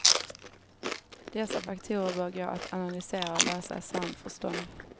Dessa faktorer bör gå att analysera och lösa i samförstånd.